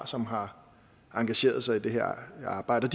som har engageret sig i det her arbejde